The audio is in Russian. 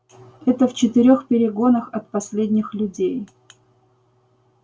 это в четырёх перегонах от последних людей